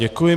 Děkuji.